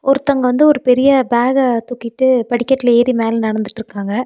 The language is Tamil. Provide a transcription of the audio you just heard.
ஒருத்தங்க வந்து ஒரு பெரிய பேக தூக்கிட்டு படிக்கட்டில ஏறி மேல நடந்துட்டுருக்காங்க.